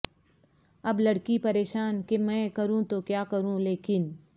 اب لڑکی پریشان کہ میں کروں تو کیا کروں لیکن